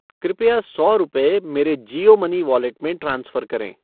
कृपया सौ रुपये मेरे जियो मनी वॉलेट में ट्रांसफ़र करें।